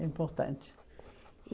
É importante.